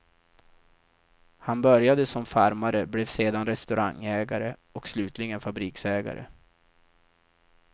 Han började som farmare, blev sedan restaurangägare och slutligen fabriksägare.